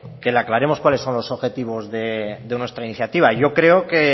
le aclaremos cuáles son los objetivos de nuestra iniciativa yo creo